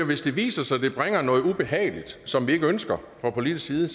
hvis det viser sig at det bringer noget ubehageligt med som vi ikke ønsker fra politisk side